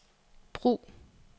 brug